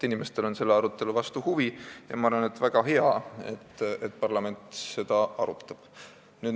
Inimestel on selle arutelu vastu huvi ja ma arvan, et see on väga hea, et parlament seda arutab.